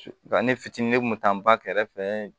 Nka ne fitinin ne kun bɛ taa n ba kɛrɛfɛ